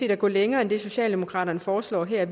at gå længere end det socialdemokraterne foreslår her